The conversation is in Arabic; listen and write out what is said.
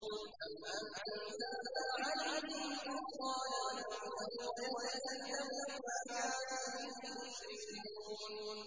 أَمْ أَنزَلْنَا عَلَيْهِمْ سُلْطَانًا فَهُوَ يَتَكَلَّمُ بِمَا كَانُوا بِهِ يُشْرِكُونَ